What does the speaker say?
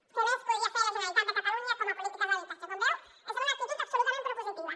què més podria fer la generalitat de catalunya com a polítiques d’habitatge com veu estem en una actitud absolutament propositiva